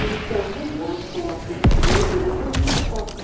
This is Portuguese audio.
Então, vendia nas porta, tudo eles vendia nas porta.